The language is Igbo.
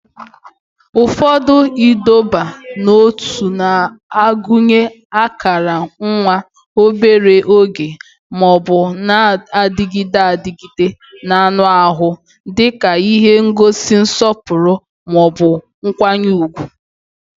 Ụfọdụ ịdọba n'ótú na-agụnye akara nwa obere oge ma ọ bụ na-adịgide adịgide n'anụ ahụ dị ka ihe n'egosi nsọpụrụ ma ọ bụ nkwanye ùgwù